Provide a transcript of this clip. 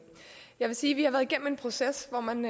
jeg vil sige at vi har været igennem en proces hvor man